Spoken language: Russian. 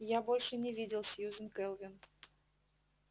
я больше не видел сьюзен кэлвин